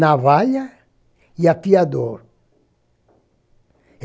navalha e afiador.